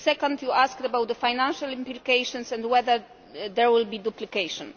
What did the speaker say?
Second, you asked about the financial implications and whether there will be duplication.